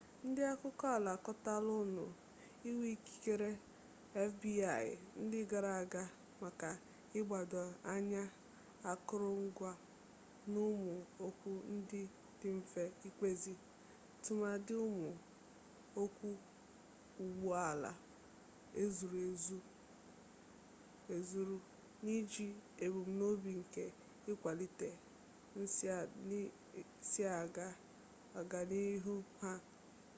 ndị akụkọala akọtọla ụmụ iwuikikere fbi ndị gara aga maka ịgbado anya akụrụngwa n'ụmụ okwu ndị dị mfe ikpezi tụmadị ụmụ okwu ụgbọ ala ezuru ezuru n'iji ebumnobi nke ịkwalite nsiaga ọganihu ha